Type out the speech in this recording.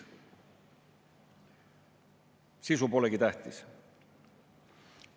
Sisu polegi tähtis.